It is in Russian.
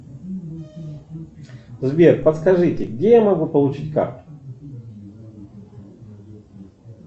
сбер подскажите где я могу получить карту